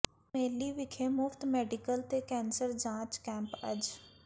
ਮੇਹਲੀ ਵਿਖੇ ਮੁਫ਼ਤ ਮੈਡੀਕਲ ਤੇ ਕੈਂਸਰ ਜਾਂਚ ਕੈਂਪ ਅੱਜ